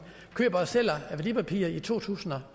køber og sælger værdipapirer i to tusind og